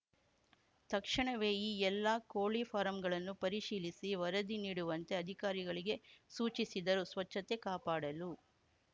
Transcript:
ತಕ್ಷಣವೇ ಈ ಎಲ್ಲಾ ಕೋಳಿ ಫಾರಂಗಳನ್ನು ಪರಿಶೀಲಿಸಿ ವರದಿ ನೀಡುವಂತೆ ಅಧಿಕಾರಿಗಳಿಗೆ ಸೂಚಿಸಿದರು ಸ್ವಚ್ಛತೆ ಕಾಪಾಡಲು